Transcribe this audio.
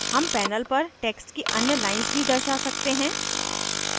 हम panel पर text की अन्य lines भी दर्शा सकते हैं